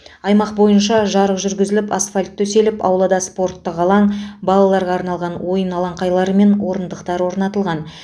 аймақ бойынша жарық жүргізіліп асфальт төселіп аулада спорттық алаң балаларға арналған ойын алаңқайлары мен орындықтар орнатылған